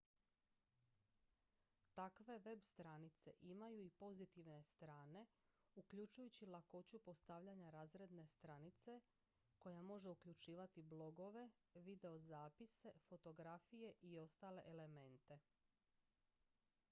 takve web-stranice imaju i pozitivne strane uključujući lakoću postavljanja razredne stranice koja može uključivati ​​blogove videozapise fotografije i ostale elemente